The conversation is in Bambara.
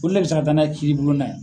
Olu de be se ka taa n'a ye kiiribulon na .